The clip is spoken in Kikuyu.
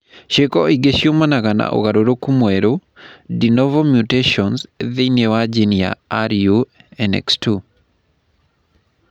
Ciiko ingĩ ciumanaga na ũgarũrũku mwerũ (de novo mutations) thĩinĩ wa jini ya RUNX2.